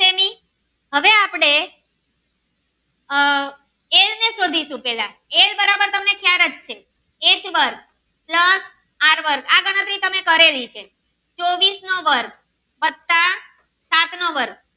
હવે આપડે આહ એલ ને શોધીશુ પેલા એલ બરાબર તમને ચાર જ છે એક વર્ગ plus આર વર્ગ આ ગણતરી તમે કરેલી છે ચોવીસ નો વર્ગ વત્તા સાત નો વર્ગ